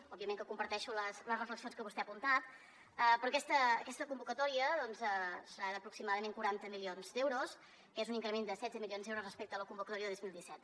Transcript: òbviament que comparteixo les reflexions que vostè ha apuntat però aquesta convocatòria doncs serà d’aproximadament quaranta milions d’euros que és un increment de setze milions d’euros respecte a la convocatòria de dos mil disset